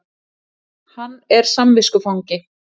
Hann er samviskufangi